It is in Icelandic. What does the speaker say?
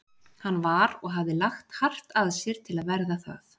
Hann var- og hafði lagt hart að sér til að verða það